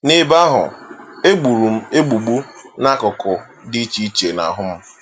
N’ebe ahụ, e gburu m egbugbu n’akụkụ dị iche iche n'ahụ m.